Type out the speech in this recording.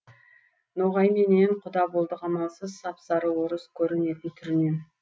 ноғайменен құда болдық амалсыз сап сары орыс көрінетін түрінен